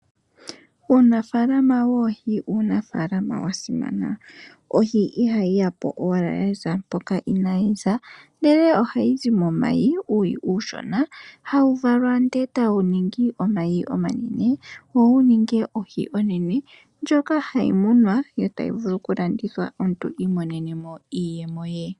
Uunafaalama woohi owa simana , ohi ihayi ya po owala ngepathimo lyeho, ndele ohayi zi muuyi uushona . Ohawu valwa e tawu ningi omayi omanene, wo wu vule okuninga ohi onene ndjoka hayi munwa e tayi vulu okulandithwa omuntu imonenemo iiyemo ye.